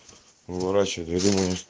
выращивать